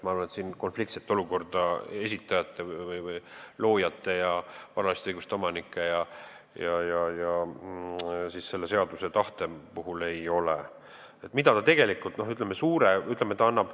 Ma arvan, et siin konfliktset olukorda esitajate või loojate ja varaliste õiguste omanike ja selle seaduse tahte vahel ei ole.